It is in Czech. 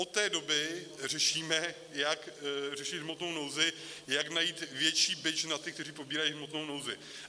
Od té doby řešíme, jak řešit hmotnou nouzi, jak najít větší bič na ty, kteří pobírají hmotnou nouzi.